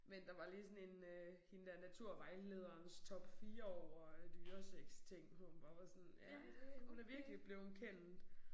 Men der var lige sådan en øh hende der naturvejlederens top 4 over dyresex ting hun bare var sådan ja det hun er virkelig blevet kendt